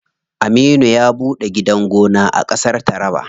Aminu ya ɓuɗe gidan gona a ƙasar taraba.